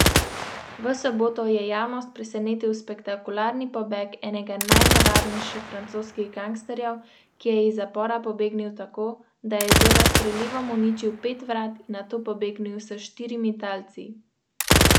Civilni zaščiti je ponudila pomoč v hrani, predvsem mleku, in detergentu za čiščenje prostorov, ponudila je tudi opremo za razvlaževanje.